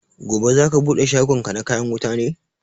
Gobe za ka bude shagon ka na kayan wuta ne?